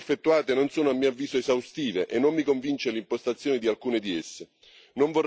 Le ricerche effettuate non sono, a mio avviso, esaustive e non mi convince l'impostazione di alcune di esse.